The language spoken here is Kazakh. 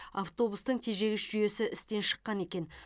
автобустың тежегіш жүйесі істен шыққан екен